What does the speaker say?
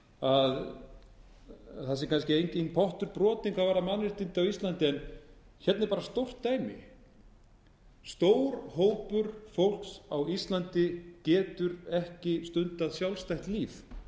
að það sé enginn pottur brotinn hvað varðar mannréttindi á íslandi en hérna er stórt dæmi stór hópur fólks á íslandi getur ekki stundað sjálfstætt líf